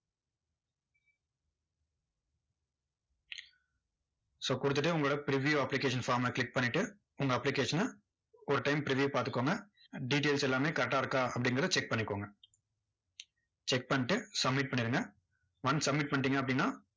so கொடுத்துட்டு உங்களோட preview application form அ click பண்ணிட்டு, உங்க application ன ஒரு time preview பாத்துக்கோங்க details எல்லாமே correct ஆ இருக்கா, அப்படிங்குறதை check பண்ணிக்கோங்க. check பண்ணிட்டு submit பண்ணிருங்க once submit பண்ணிட்டீங்க அப்படின்னா,